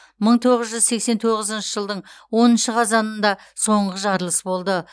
мың тоғыз жүз сексен тоғызыншы жылдың оныншы қазанында соңғы жарылыс болды